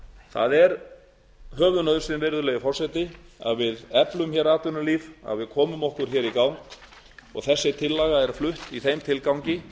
það er höfuðnauðsyn virðulegi forseti að við eflum hér atvinnulíf að við komum okkur hér í gang og þessi tillaga er flutt í þeim tilgangi